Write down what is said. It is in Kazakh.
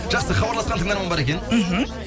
жақсы хабарласқан тыңдарман бар екен мхм